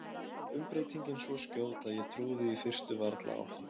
Umbreytingin svo skjót að ég trúði í fyrstu varla á hana.